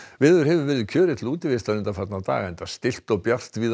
veður hefur verið kjörið til útivistar undanfarna daga enda stillt og bjart víða um